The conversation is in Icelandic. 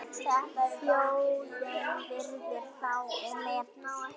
Þjóðin virðir þá og metur.